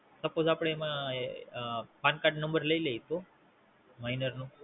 Suppose આપડે એમાં PAN card No લઇ લઈએ તો Minor નું?